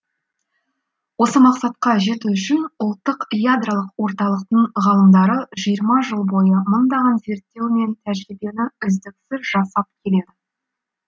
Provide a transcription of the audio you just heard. осы мақсатқа жету үшін ұлттық ядролық орталықтың ғалымдары жиырма жыл бойы мыңдаған зерттеу мен тәжірибені үздіксіз жасап келеді